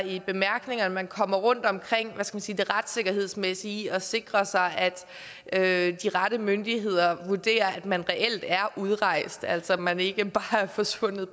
i bemærkningerne kommer rundt omkring hvad skal man sige det retssikkerhedsmæssige i at sikre sig at de rette myndigheder vurderer om man reelt er udrejst altså om man ikke bare er forsvundet